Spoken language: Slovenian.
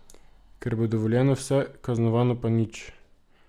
Ker bo dovoljeno vse, kaznovano pa nič.